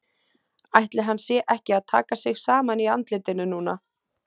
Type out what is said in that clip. Ætli hann sé ekki að taka sig saman í andlitinu núna.